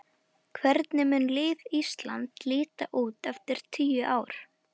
Hvernig mun lið Íslands líta út eftir tíu ár?